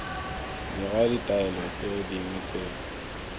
dira ditaolelo tse dingwe tse